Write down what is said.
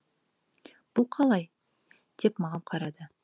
бұл қалай деп маған қарады